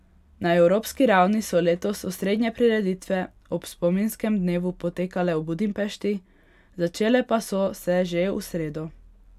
Na evropski ravni so letos osrednje prireditve ob spominskem dnevu potekale v Budimpešti, začele pa so se že v sredo.